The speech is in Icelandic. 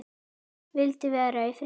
Vildi vera í friði.